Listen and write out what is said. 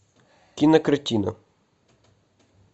кинокартина